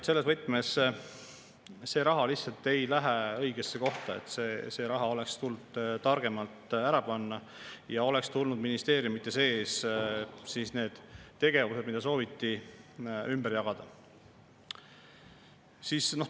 Selles võtmes see raha ei lähe õigesse kohta, see raha oleks tulnud targemalt paika panna ja oleks tulnud ministeeriumide sees need tegevused, mida sooviti, ümber jagada.